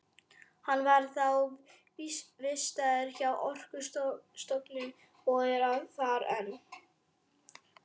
Hann var þá vistaður hjá Orkustofnun og er þar enn.